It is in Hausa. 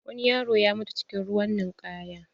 Wani yaro ya mutu cikin ruwan ninkaya.